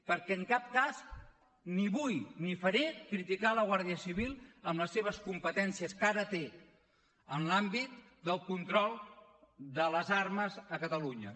perquè en cap cas ni vull ni ho faré criticar la guàrdia civil en les seves competències que ara té en l’àmbit del control de les armes a catalunya